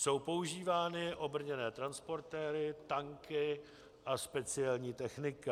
Jsou používány obrněné transportéry, tanky a speciální technika.